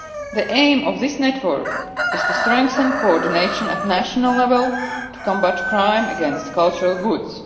The aim of this network is to strengthen coordination at national level to combat crime against cultural goods.